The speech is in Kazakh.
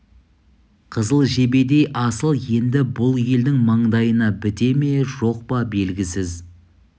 қызыл жебедей асыл енді бұл елдің маңдайына біте ме жоқ па белгісіз